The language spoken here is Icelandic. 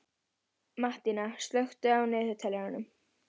Mattína, slökktu á niðurteljaranum.